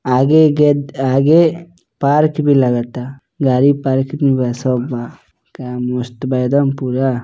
आगे के आगे पार्क भी लगता गाडी पार्क में बसों बा का मस्त बा एकदम पूरा।